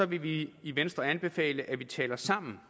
vil vi i venstre anbefale at vi taler sammen